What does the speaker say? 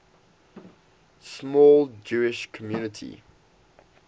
small jewish community